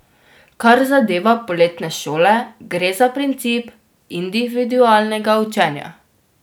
Kar zadeva poletne šole, gre za princip individualnega učenja.